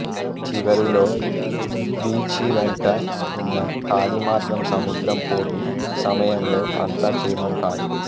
చివరిలో బీచి వెంట ఉన్న కాలిమార్గం సముద్రం పోటు సమయంలో అంత క్షేమం కాదు